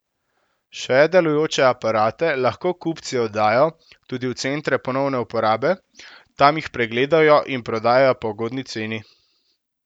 Še delujoče aparate lahko kupci oddajo tudi v centre ponovne uporabe, tam jih pregledajo in prodajajo po ugodni ceni.